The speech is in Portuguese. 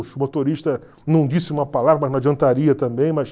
O motorista não disse uma palavra, mas não adiantaria também, mas...